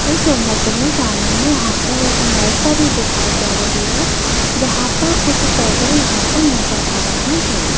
इस ईमेज में सामने यहां पर एक नर्सरी दिखाई दे रही हैं जहां पर कुछ पौधे यहां पर नजर आ रहे हैं।